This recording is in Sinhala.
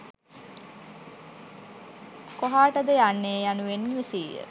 කොහාටද යන්නේ යනුවෙන් විමසීය